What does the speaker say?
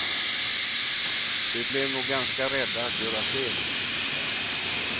De blev nog ganska rädda att göra fel igen.